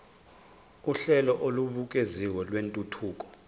uhlelo olubukeziwe lwentuthuko